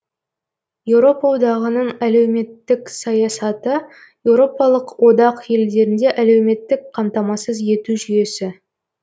еуропа одағытың әлеуметтік саясаты еуропалық одақ елдерінде әлеуметтік қамтамасыз ету жүйесі